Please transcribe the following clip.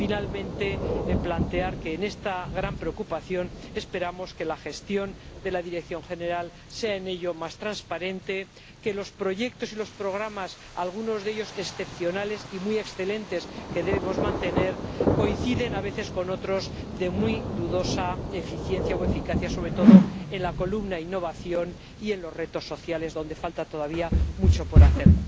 Finalmente, plantear que la gestión de la Dirección General sea más transparente, que los proyectos y los programas, algunos de ellos excepcionales y muy excelentes, que debemos mantener, coinciden a veces con otros de muy dudosa eficiencia o eficacia, sobre todo en la columna Innovación y en los retos sociales, donde falta todavía mucho por hacer.